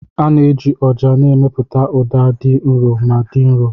A na-eji ọjà na-emepụta ụda dị nro ma dị nro.